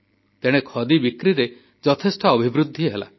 ତେଣେ ଖଦି ବିକ୍ରିରେ ଯଥେଷ୍ଟ ବୃଦ୍ଧି ହେଲା